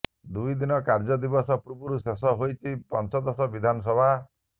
ଦୁଇ ଦିନ କାର୍ଯ୍ୟ ଦିବସ ପୂର୍ବରୁ ଶେଷ ହୋଇଛି ପଞ୍ଚଦଶ ବିଧାନସଭା